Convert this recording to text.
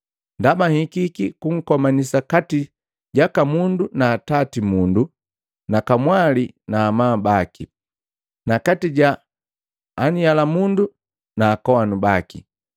Ndaba nhikiki kukomanisa kati jaka mundu na atati mundu na kamwali na amabu baki na kati ja anhyalamundu na akowanu baki.